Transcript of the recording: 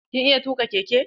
Kin iya tuƙa keke?